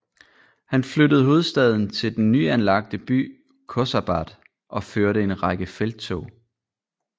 Han flyttede hovedstaden til den nyanlagte by Khorsabad og førte en række felttog